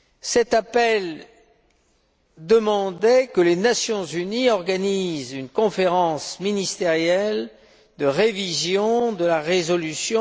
Cet appel demandait que les Nations unies organisent une conférence ministérielle consacrée à la révision de la résolution